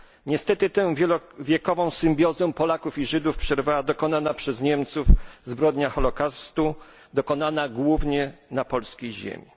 Niestety tę wielowiekową symbiozę Polaków i Żydów przerwała dokonana przez Niemców zbrodnia holokaustu dokonana głównie na polskiej ziemi.